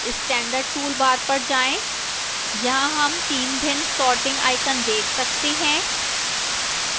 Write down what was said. standard toolbar पर जाएं यहां हम तीन भिन्न sorting आइकन देख सकते हैं